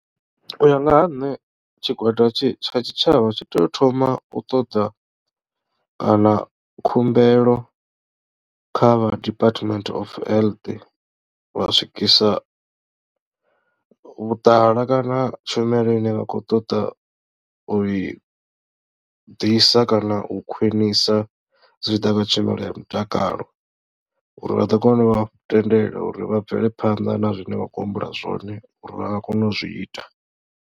U ya nga ha nṋe tshigwada tshi tsha tshitshavha tshi tea u thoma u ṱoḓa kana khumbelo kha vha department of health lwa swikisa vhuṱala kana tshumelo ine vha khou ṱoḓa u i ḓisa kana u khwinisa zwi tshi ḓa kha tshumelo ya mutakalo uri vha ḓo kona u vha tendela uri vha bvele phanḓa na zwine vha khou humbula zwone uri vha nga kona u zwi ita.